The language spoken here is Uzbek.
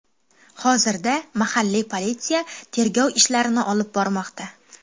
Hozirda mahalliy politsiya tergov ishlarini olib bormoqda.